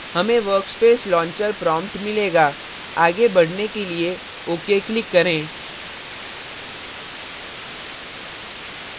हमें workspace launcher prompt मिलेगा आगे बढ़ने के लिए ok click करें